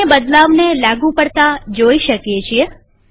આપણે બદલાવને લાગુ પડતા જોઈ શકીએ છીએ